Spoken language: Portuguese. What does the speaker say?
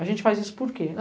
A gente faz isso por quê?